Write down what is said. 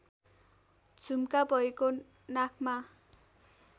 झुम्का भएको नाकमा